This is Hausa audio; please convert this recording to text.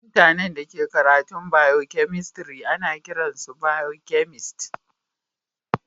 Mutane da ke karatun biokemistri ana kiran su biokemist.